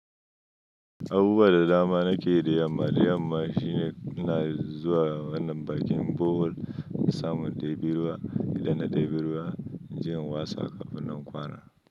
Abubuwa da dama na ke da yamma da yamma shine ina zuwa wannan bakin bohol in samu indebi ruwa. Idan na debi ruwa, inje in watsa a kafin nan na kwana.